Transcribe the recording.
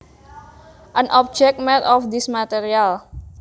An object made of this material